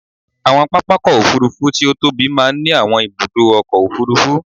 Àwọn pápákọ̀ òfúrufú tí ó tóbi máa ń ní àwọn ibùdó ọkọ̀ òfurufú.